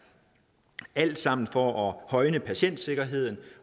alt sammen for at højne patientsikkerheden